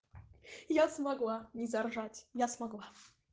я смогла не заржать я смогла